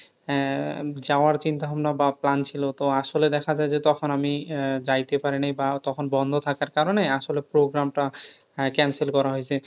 হ্যাঁ যাওয়ার চিন্তাভাবনা বা plan ছিল। তো আসলে দেখা যায় যে তখন আমি আহ যাইতে পারি নাই বা তখন বন্ধ থাকার কারণে আসলে programme টা আহ cancel করা হয়ছে।